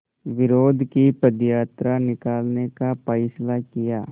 विरोध की पदयात्रा निकालने का फ़ैसला किया